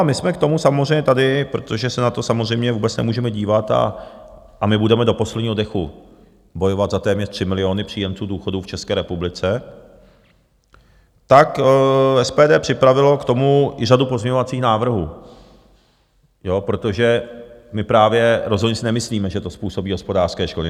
A my jsme k tomu samozřejmě tady, protože se na to samozřejmě vůbec nemůžeme dívat, a my budeme do posledního dechu bojovat za téměř 3 miliony příjemců důchodů v České republice, tak SPD připravilo k tomu i řadu pozměňovacích návrhů, protože my právě rozhodně si nemyslíme, že to způsobí hospodářské škody.